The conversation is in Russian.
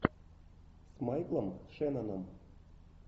с майклом шенноном